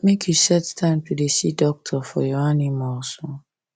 make you set time to da see doctor for your animals